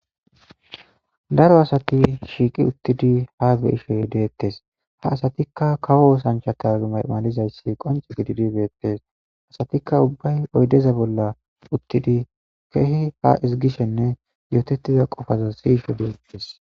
Daro asat shiqid utid hasa'ishe detes, ha asatka kawo osanchata malatizayas qonce gidid betes, asatika ubbay oydeza bolla utid keeh ha ezigishenne yotetiza qopaza siyishe detes.